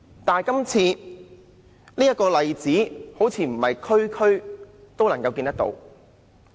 但是，這個例子好像不是每一區都看到。